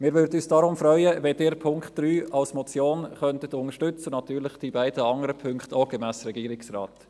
Wir würden uns deshalb freuen, wenn Sie den Punkt 3 als Motion unterstützen könnten, und natürlich die beiden andere Punkte auch, gemäss Regierungsrat.